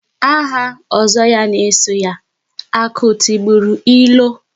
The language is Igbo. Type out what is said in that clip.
Aha Ozo ya na-eso ya - "Akụ tigburu ilo"